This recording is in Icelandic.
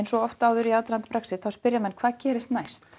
svo oft áður í aðdraganda Brexit spyrja menn hvað gerist næst